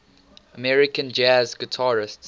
american jazz guitarists